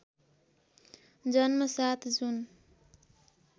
जन्म ७ जुन